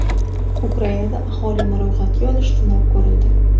Ukrainada aholini ro‘yxatga olish sinab ko‘rildi.